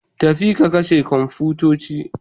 Tafi ka kashe komfitoci.